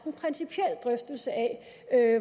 en principiel drøftelse af